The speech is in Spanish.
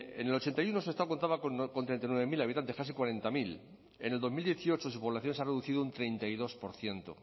en el ochenta y uno sestao contaba con treinta y nueve mil habitantes casi cuarenta mil en el dos mil dieciocho su población se ha reducido un treinta y dos por ciento